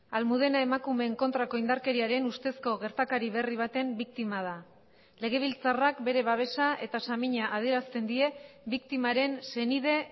almudena emakumeen kontrako indarkeriaren ustezko gertakari berri baten biktima da legebiltzarrak bere babesa eta samina adierazten die biktimaren senide